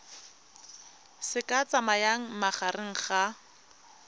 se ka tsayang magareng ga